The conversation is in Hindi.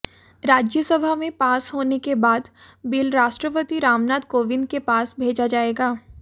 राज्यसभा में पास होने के बाद बिल राष्ट्रपति रामनाथ कोविंद के पास भेजा जाएगा